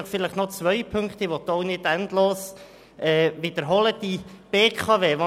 Ich will nicht alles endlos wiederholen, sondern nur noch auf zwei Punkte hinweisen: